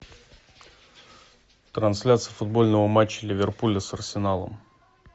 трансляция футбольного матча ливерпуля с арсеналом